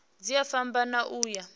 dzi a fhambana u ya